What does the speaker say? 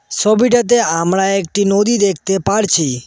সোবিটাতে আমরা একটা নদী দেখতে পারছি।